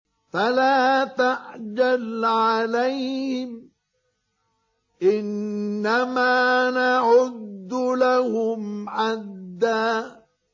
فَلَا تَعْجَلْ عَلَيْهِمْ ۖ إِنَّمَا نَعُدُّ لَهُمْ عَدًّا